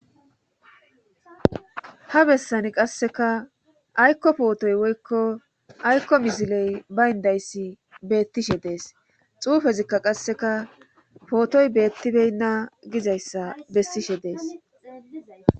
ha bessani qasseka aykko pootoy woykko aykko misiley bayndayssi beettishe dees xuufezikka qasseka pootoy beettibeynna gizayssa bessishe dees